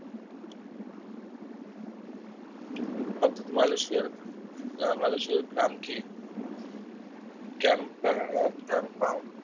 অর্থাৎ মালয়েশিয়া মালয়েশিয়ার গ্রাম কে গ্রাম গ্রাম পাও